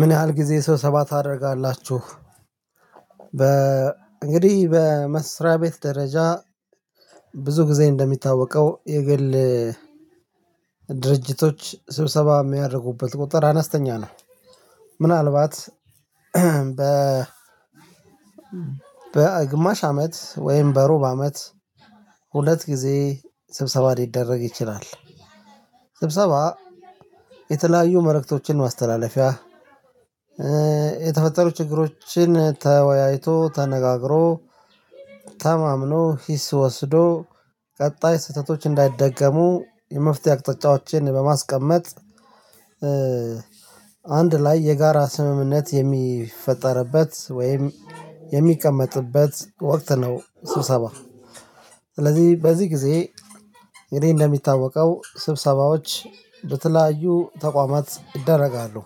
ምን ያህል ጊዜ ስብሰባ ታደርጋላችሁ? በ እንግዲህ በመስሪያ ቤት ደረጃ ብዙ ጊዜ እንደሚታወቀው የግል ድርጅቶች ስብሰባ እሚያደርጉበት ቁጥር አነስተኛ ነው። ምናልባት በ በግማሽ አመት ወይም በሩብ አመት ሁለት ጊዜ ስብሰባ ሊደረግ ይችላል። ስብሰባ የተለያዩ መልእክቶችን ማስተላለፊያ የተፈጠሩ ችግሮችን ተወያይቶ ተነጋግሮ ታማምኖ ሂስ ወስዶ ቀጣይ ስህተቶች እንዳይደገሙ የመፍትሄ አቅጣጫዎችን በማስቀመጥ አንድ ላይ የጋራ ስምምነት የሚፈጠርበት ወይም የሚቀመጥበት ወቅት ነው። ስብሰባ ስለዚህ በዚህ ጊዜ የኔ እንደሚታወቀው ስብሰባዎች በተለያዩ ተቋማት እደረጋለሁ።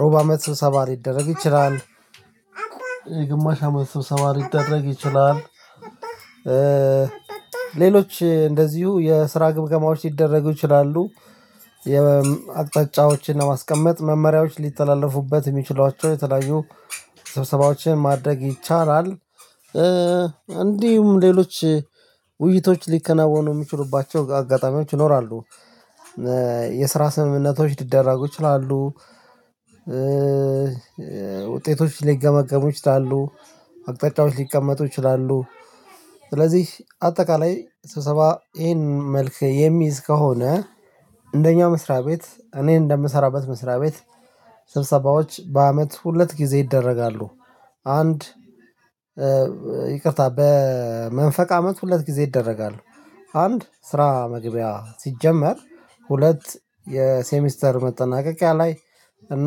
ሮብ አመት ስብሰባ ሊደረግ ይችላል። የግማሽ አመት ስብሰባ ሊደረግ ይችላል። ሌሎች እንደዚሁ የስራ ግምገማዎች ሊደረጉ ይችላሉ። የአቅጣጫዎችን ለማስቀመጥ መመሪያዎች ሊተላለፉበት የሚችሏቸው የተለያዩ ስብሰባዎችን ማድረግ ይቻላል። እንዲሁም ሌሎች ውይይቶች ሊከናወኑ እሚችሉባቸው አጋጣሚዎች ይኖራሉ። የስራ ስምምነቶች ሊደረጉ ይችላሉ። ውጤቶች ሊገመገሙ ይችላሉ አቅጣጫዎች ሊቀመጡ ይችላሉ። ስለዚህ አጠቃላይ ስብሰባ ይሄን መልክ የሚይዝ ከሆነ እንደኛ መስሪያ ቤት እኔ እንደምሰራበት መስሪያ ቤት ስብሰባዎች በአመት ሁለት ጊዜ ይደረጋሉ። አንድ ይቅርታ በመንፈቅ አመት ሁለት ጊዜ ይደረጋሉ። አንድ ስራ መግቢያ ሲጀመር ሁለት የሴሚስተር መጠናቀቂያ ላይ እና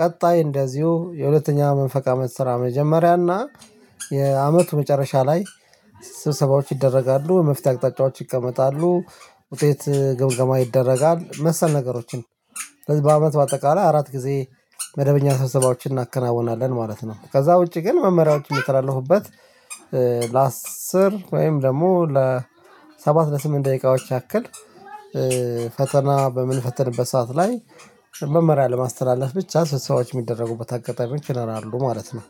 ቀጣይ እንደዚሁ የሁለተኛ መንፈቅ አመት ስራ መጀመሪያ እና የአመቱ መጨረሻ ላይ ስብሰባዎች ይደረጋሉ የመፍትሄ አቅጣጫዎች ይቀመጣሉ። ውጤት ግምገማ ይደረጋል መሰል ነገሮችን ስለዚህ በአመት በአጠቃላይ አራት ጊዜ መደበኛ ሰብሰባዎችን እናከናውናለን ማለት ነው። ከዛ ውጪ ግን መመሪያዎች የምተላለፉበት ለአስር ወይም ደግሞ ለሰባት ለስምንት ደቂቃዎች ያክል ፈተና በምንፈትንበት ሰዓት ላይ መመሪያ ለማስተላለፍ ብቻ ስብሰባዎች እሚደረጉበት አጋጣሚዎች ይኖራሉ ማለት ነው